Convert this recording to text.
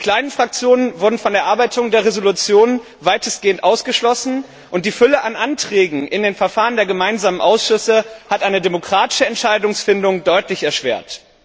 Die kleinen Fraktionen wurden von der Erarbeitung der Entschließung weitestgehend ausgeschlossen, und die Fülle an Anträgen in den Verfahren der gemeinsamen Ausschüsse hat eine demokratische Entscheidungsfindung deutlich erschwert.